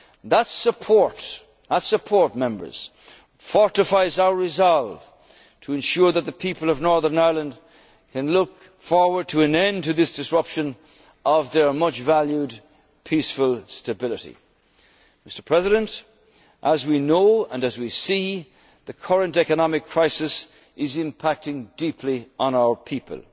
on our island. That support fortifies our resolve to ensure that the people of Northern Ireland can look forward to an end to this disruption of their much valued peaceful stability. As we know, and as we see, the current economic crisis is impacting deeply